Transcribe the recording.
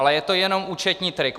Ale je to jenom účetní trik.